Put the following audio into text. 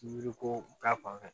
Miiri ko ta fanfɛ